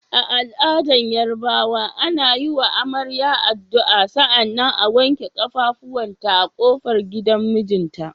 A al'adar Yarabawa, ana wa amarya addu'a sannan a wanke kafafunta a kofar gidan mijinta.